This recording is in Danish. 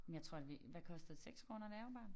Men jeg tror det hvad kostede 6 kroner da jeg var barn